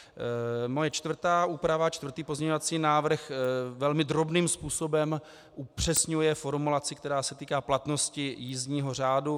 Moje čtvrtá úprava, čtvrtý pozměňovací návrh, velmi drobným způsobem upřesňuje formulaci, která se týká platnosti jízdního řádu.